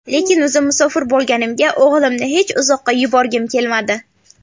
Lekin o‘zim musofir bo‘lganimga o‘g‘limni hech uzoqqa yuborgim kelmadi.